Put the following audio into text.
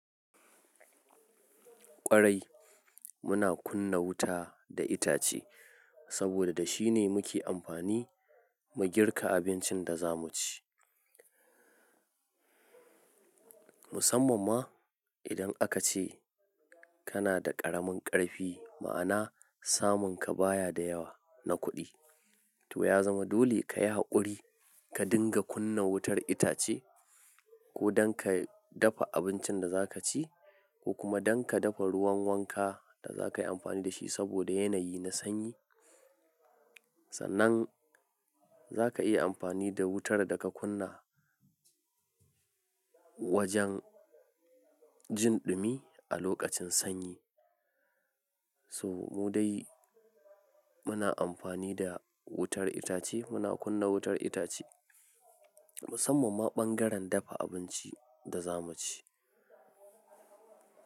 Ƙwarai, muna kunna wuta da itace saboda da shine muke amfani mu girka abincin da za mu ci. Musamman ma idan aka ce kana da ƙaramin ƙarfi, ma'ana samun ka baya da yawa na kuɗi. To ya zama dole ka yi haƙuri ka dinga kunna wutar itace ko dan ka dafa abincin da za ka ci ko kuma dan ka dafa ruwan wanka da za ka yi amfani da shi saboda yanayi na sanyi. Sannan za ka iya amfani da wutar da ka kunna wajen jin dumi a lokacin sanyi. So mu dai muna amfani da wutar itace, muna kunna wutar itace musamman ma ɓangaren dafa abinci da za mu ci.